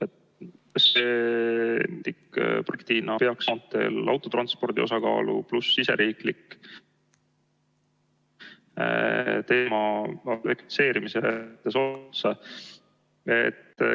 Kas see ... peaks ... autotranspordi osakaalu ... pluss siseriiklik ...